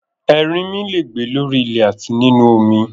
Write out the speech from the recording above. Ẹrinmi le è gbé lórí ilẹ̀ àti nínu omi